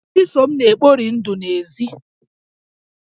Chisom na-ekpori ndụ n'èzí